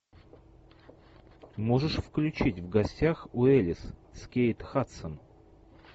можешь включить в гостях у эллис с кейт хадсон